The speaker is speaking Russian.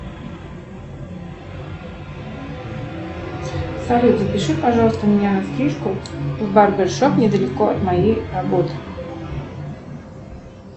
салют запиши пожалуйста меня на стрижку в барбершоп недалеко от моей работы